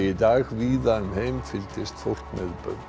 í dag víða um heim fylgdist fólk með